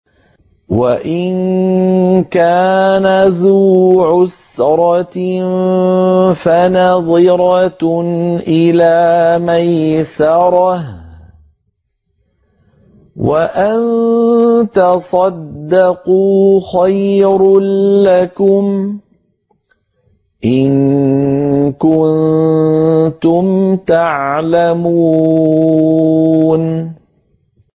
وَإِن كَانَ ذُو عُسْرَةٍ فَنَظِرَةٌ إِلَىٰ مَيْسَرَةٍ ۚ وَأَن تَصَدَّقُوا خَيْرٌ لَّكُمْ ۖ إِن كُنتُمْ تَعْلَمُونَ